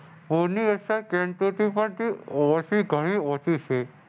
ઓછી ઘણી ઓછી છે.